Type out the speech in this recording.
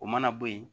O mana bo ye